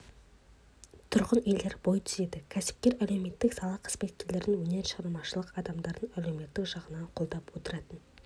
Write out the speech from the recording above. тұрғын үйлер бой түзеді кәсіпкер әлеуметтік сала қызметкерлерін өнер шығармашылық адамдарын әлеуметтік жағынан қолдап отыратын